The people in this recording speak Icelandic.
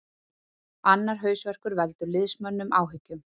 Annar hausverkur veldur liðsmönnum áhyggjum